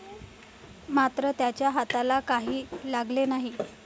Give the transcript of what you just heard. मात्र त्यांच्या हाताला काही लागले नाही.